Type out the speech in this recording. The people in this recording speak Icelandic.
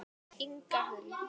Inga Huld.